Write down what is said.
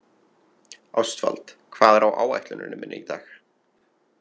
Ástvald, hvað er á áætluninni minni í dag?